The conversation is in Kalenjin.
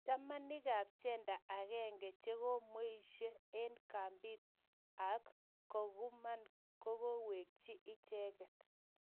Chamanikab gender agenge che komweiso eng kambit ab Kakuma kogewech icheket